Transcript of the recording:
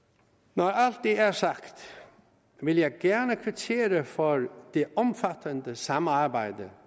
når alt det er sagt vil jeg gerne kvittere for det omfattende samarbejde